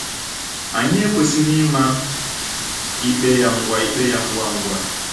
Anyị ekwesịghị ịma ikpe ya ngwa ikpe ya ngwa ngwa.